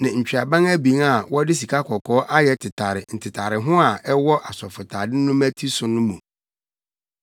ne ntweaban abien a wɔde sikakɔkɔɔ ayɛ tetare ntetareho a ɛwɔ asɔfotade no mmati so no mu.